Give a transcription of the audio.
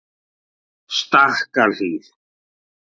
Stakkahlíð